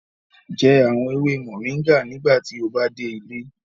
Jẹ awon ewe moringa nigbati o ba de ile